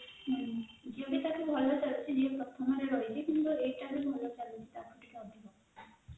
Jio ର ଭଲ ଚାଲିଛି Jio ପ୍ରଥମରେ ରହିଛି କିନ୍ତୁ ଏଉତ ବି ଭଲ ଚାଲିଛି ଟାହି ଟିକେ ଅଧିକ